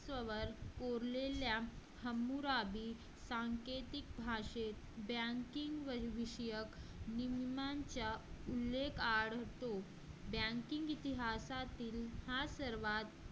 कोरलेल्या हमराबी सांकेतिक भाषेत banking विषयक निम्म्यांच्या उल्लेख काळ banking इतिहासातील हा सर्वात